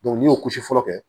n'i y'o kosi fɔlɔ kɛ